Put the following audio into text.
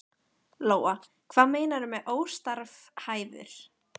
Lóa: Hvað meinarðu með óstarfhæfur?